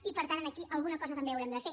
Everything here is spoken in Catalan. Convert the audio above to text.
i per tant aquí alguna cosa també haurem de fer